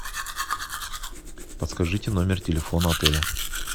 подскажите номер телефона отеля